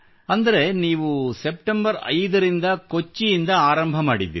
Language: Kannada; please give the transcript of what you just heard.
ಅಂದರೆ ನೀವು ಸೆಪ್ಟೆಂಬರ್ 5 ರಿಂದ ಕೊಚ್ಚಿಯಿಂದ ಆರಂಭಿಸಿದ್ದೀರಿ